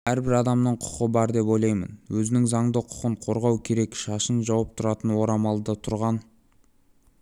әрбір адамның құқы бар деп ойлаймын өзінің заңды құқын қорғау керек шашын жауып тұратын орамалда тұрған